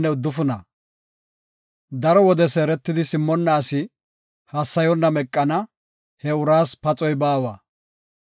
Daro wode seeretidi simmonna asi hassayonna meqana; he uraas paxoy baawa.